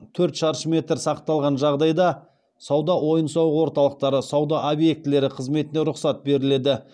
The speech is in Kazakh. төрт шаршы метр сақталған жағдайда сауда ойын сауық орталықтары сауда объектілері қызметіне рұқсат беріледі